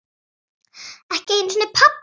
Ekki einu sinni pabbi hennar.